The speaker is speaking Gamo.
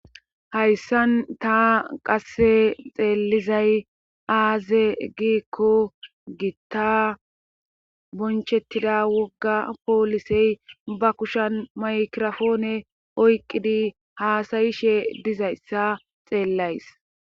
hayssan ta qasse xeelizay aaze giikko gitta bonchettida wogga poolisey ba kushan maykrofoone oyqqidi haasayishe dizayssa xeellays